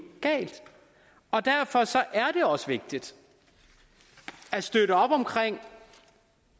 galt og derfor er det også vigtigt at støtte op om